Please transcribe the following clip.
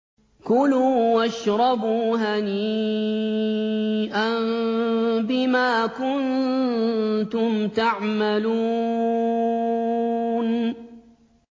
كُلُوا وَاشْرَبُوا هَنِيئًا بِمَا كُنتُمْ تَعْمَلُونَ